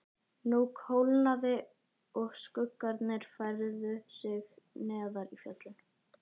Nú kólnaði og skuggarnir færðu sig neðar í fjöllin.